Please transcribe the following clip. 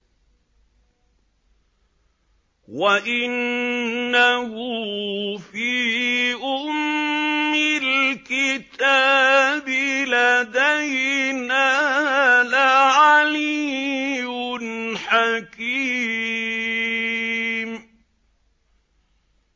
وَإِنَّهُ فِي أُمِّ الْكِتَابِ لَدَيْنَا لَعَلِيٌّ حَكِيمٌ